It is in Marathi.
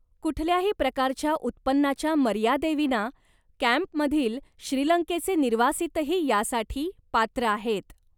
कुठल्याही प्रकारच्या उत्पन्नाच्या मर्यादेविना, कॅम्पमधील श्रीलंकेचे निर्वासितही यासाठी पात्र आहेत.